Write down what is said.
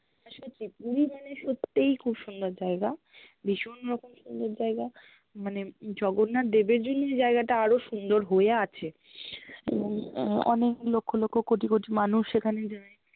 না সত্যি, পুরি মানে সত্যিই খুব সুন্দর জায়গা ভীষণ রকম সুন্দর জায়্গা, মানে জগন্নাথ দেবের জ্ন্য়ই জায়্গাটা আরো সুন্দর হয়ে আছে এবং আহ অনেক লক্ষ-লক্ষ কটি-কটি মানুষ এখানে যায়